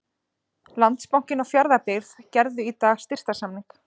Landsbankinn og Fjarðabyggð gerðu í dag styrktarsamning.